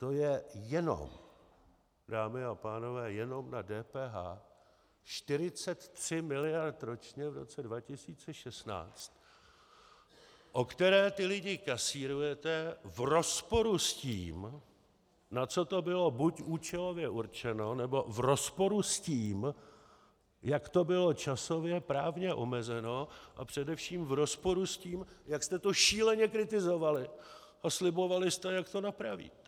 To je jenom, dámy a pánové, jenom na DPH 43 mld. ročně v roce 2016, o které ty lidi kasírujete v rozporu s tím, na co to bylo buď účelově určeno, nebo v rozporu s tím, jak to bylo časově právně omezeno, a především v rozporu s tím, jak jste to šíleně kritizovali a slibovali jste, jak to napravíte.